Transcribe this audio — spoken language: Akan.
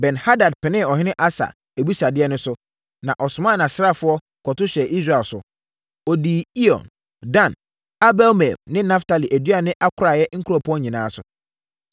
Ben-Hadad penee ɔhene Asa abisadeɛ no so, na ɔsomaa nʼasraafoɔ, kɔto hyɛɛ Israel so. Wɔdii Iyon, Dan, Abel-Maim ne Naftali aduane akoraeɛ nkuropɔn nyinaa so.